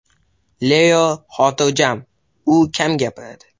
Leo xotirjam, u kam gapiradi.